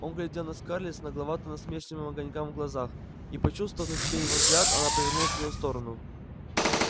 он глядел на скарлетт с нагловато-насмешливым огонькам в глазах и почувствовав на себе его взгляд она повернулась в его сторону